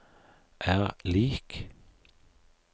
er lik